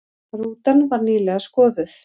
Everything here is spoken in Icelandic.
Rútan var nýlega skoðuð